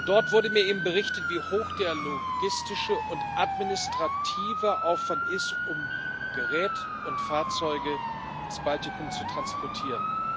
Dort wurde mir berichtet, wie hoch der logistische und administrative Aufwand ist, um Gerät und Fahrzeuge ins Baltikum zu transportieren.